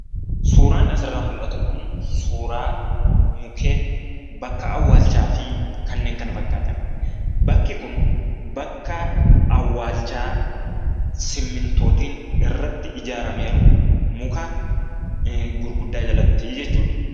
Suuraan asirraa mul'atu kun suuraa mukkeen bakka awwaalchaafi kannen kana fakkatan. Bakki kun bakka awwaalchaa simmintootiin irratti ijaarame jiru muka gurguddaa jalatti jechuudha.